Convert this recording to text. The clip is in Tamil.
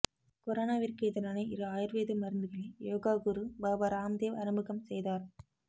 கொரோனாவிற்கு எதிரான இரு ஆயுர்வேத மருந்துகளை யோகாகுரு பாபா ராம்தேவ் அறிமுகம் செய்தார்